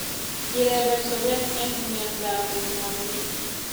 Kirepe sobet eng miandwakik